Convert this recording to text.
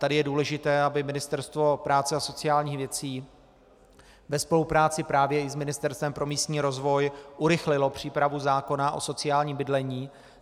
Tady je důležité, aby Ministerstvo práce a sociálních věcí ve spolupráci právě i s Ministerstvem pro místní rozvoj urychlilo přípravu zákona o sociálním bydlení.